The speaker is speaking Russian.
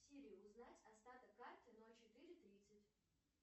сири узнать остаток карты ноль четыре тридцать